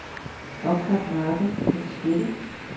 Opret mappe på diskette.